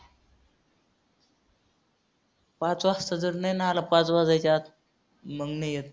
पाच वाजता जर नाही ना आला पाच वाजायच्या आत मग नाही येत.